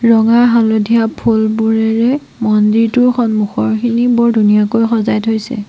ৰঙা হালধীয়া ফুলবোৰেৰে মন্দিৰটোৰ সন্মুখৰখিনি বৰ ধুনীয়াকৈ সজাই থৈছে।